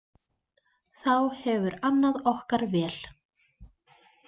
Þá hefur annað okkar vel.